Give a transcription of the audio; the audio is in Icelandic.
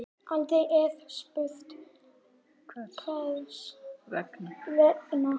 Aldrei er spurt hvers vegna.